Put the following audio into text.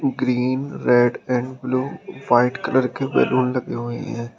Green red and blue white colour के balloon लगे हुएं हैं।